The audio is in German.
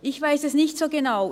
– Ich weiss es nicht so genau.